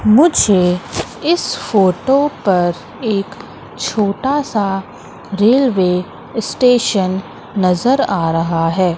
मुझे इस फोटो पर एक छोटासा रेल्वे स्टेशन नजर आ रहा है।